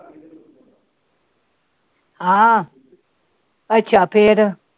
ਹਾਂ ਅੱਛਾ ਫਿਰ